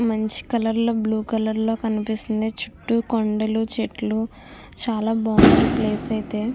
మంచి కలర్ లో blue colour లో కనివిస్తుంది. చుట్టూ కొండలు చెట్లు చాలా బాగుంది ఈ ప్లేస్ అయితే.